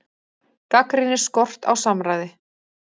Gagnrýnir skort á samráði